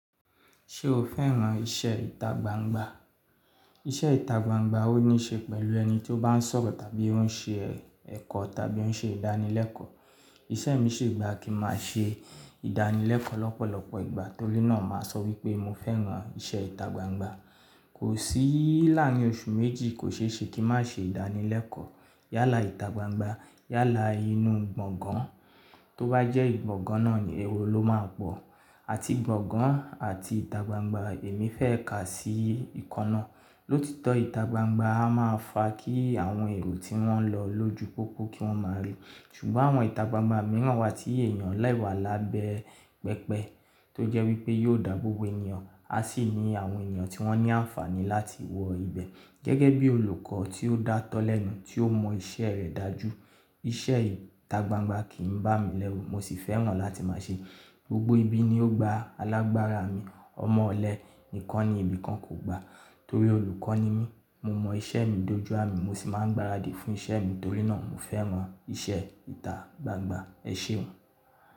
Ṣé o fẹ́ràn iṣẹ́ ìtagbangba? Iṣẹ́ ìtagbangba ó ní ṣe pẹ̀lú ẹni tí ó bá ń sọ̀rọ̀ tàbí ó ń ṣe ẹ̀kọ́ tàbí ó ń ṣe ìdánilẹ́kọ̀ọ́. Iṣẹ́ mí sì gbà kí máa ṣe ìdánilẹ́kọ́ lọ́pọ̀lọpọ̀ ìgbà torí náà màá sọ wípé mọ fẹ́ràn iṣẹ́ ìtagbangba. Kò síi láàrin oṣù méjì kò ṣe é ṣe kí n má ṣe ìdánilẹ́kọ̀ọ́. Yálà ìtagbangba, yálà inú gbọ̀ngán, tó bá jẹ́ ìgbọ̀gàn náà ni ẹro ló máa pọ̀. Àti gbọ̀ngán àti ìtagbangba èmi fẹ́ kà sí kanna. Lótitọ́ ìtagbangba a máa fa kí àwọn èrò tí wọ́n lọ ló ju pópó kí wọ́n máa ri. Ṣùgbọ́n àwọn ìtagbangba mìíràn wà tí èèyàn lè wà lábẹ́ pẹpẹ tó jẹ́ wípé yóò dáabóbo ènìyàn. A sì ní àwọn ènìyàn tí wọ́n ní àǹfààní láti wọ ibẹ̀ gẹ́gẹ́ bí olùkọ́ tí ó dá tọ́ lẹ́nu, tí ó mọ iṣẹ́ rẹ̀ dájú. Iṣẹ́ ìtagbangba kìí bá mi lẹ́wu, mọ sì fẹ́ràn láti máa ṣe. Gbogbo ibi ni ó gba alágbára mi. Ọmọ ọ̀lẹ nìkan ni ibi kan kò gba torí olùkọ́ ni mí. Mo mọ iṣẹ́ mi dójú àmì, mọ sì máa ń gbaradì fún iṣẹ́ mi torí náà mo fẹ́ràn iṣẹ́ ìtagbangba. Ẹ ṣeun.